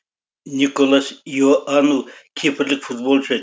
николас иоанну кипрлік футболшы